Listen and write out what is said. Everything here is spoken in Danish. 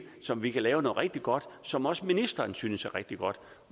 som vi kan lave noget rigtig godt som også ministeren synes er rigtig godt